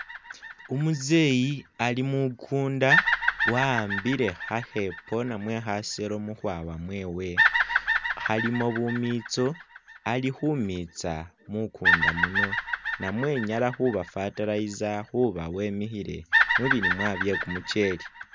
Umuzeyi ali mukunda wa'ambile khakhepo namwe khaselo mukhwawa mwewe khalimo bumitso, ali khumitsa mukunda muno namwe nyala khuba fertiliser khuba wemikhile mubilimwa bye kumucheli